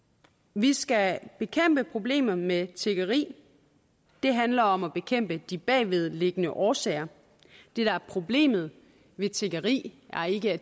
vi skal bekæmpe problemet med tiggeri det handler om at bekæmpe de bagvedliggende årsager det der er problemet ved tiggeri er ikke at